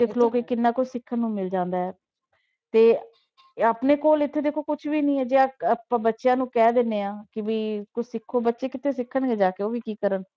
ਦੇਖ ਲਓ ਕਿ ਕਿੰਨਾ ਕੁਛ ਸਿੱਖਣ ਨੂੰ ਮਿਲ ਜਾਂਦਾ ਹੈ, ਤੇ ਆਪਣੇ ਕੋਲ ਇੱਥੇ ਦੇਖੋ ਕੁਛ ਵੀ ਨੀ ਹੈ ਜੇ ਇੱਕ ਆਪਾਂ ਬੱਚਿਆਂ ਨੂੰ ਕਹਿ ਦਿੰਦੇ ਹਾਂ ਕਿ ਵੀ ਕੁਛ ਸਿੱਖੋ, ਬੱਚੇ ਕਿੱਥੇ ਸਿੱਖਣਗੇ ਜਾ ਕੇ ਉਹ ਵੀ ਕੀ ਕਰਨ।